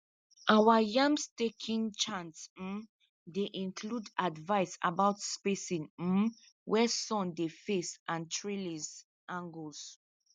our yam staking chant um dey include advice about spacing um where sun dey face and trellis angles